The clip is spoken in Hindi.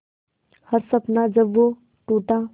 हर सपना जब वो टूटा